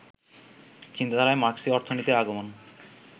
চিন্তাধারায় মার্ক্সীয় অর্থনীতির আগমন